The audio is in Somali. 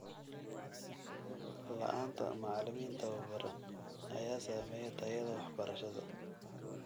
La'aanta macalimiin tababaran ayaa saameeya tayada waxbarashada.